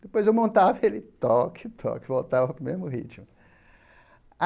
Depois eu montava e ele, toque, toque, voltava para o mesmo ritmo.